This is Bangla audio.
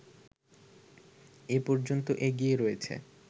এ পর্যন্ত এগিয়ে রয়েছে